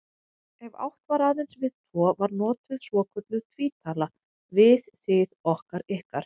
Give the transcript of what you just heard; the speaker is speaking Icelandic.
Ef átt var aðeins við tvo var notuð svokölluð tvítala, við, þið, okkar, ykkar.